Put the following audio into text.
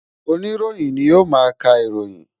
Oníròyìn ni ó máa ń ka ìròyìn